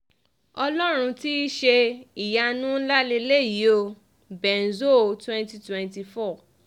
ọlọ́run ti ṣe é ìyanu ńlá lélẹ́yìí o benzo 2024